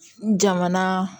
Jamana